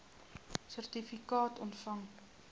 sertifikaat ontvang